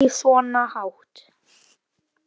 Ekki svona hátt.